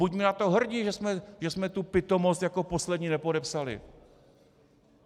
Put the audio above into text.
Buďme na to hrdi, že jsme tu pitomost jako poslední nepodepsali!